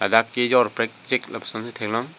ladak kejor prekjek lapusonsi theklong.